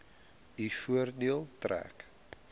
u voordeel trek